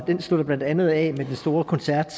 den slutter blandt andet af med den store koncert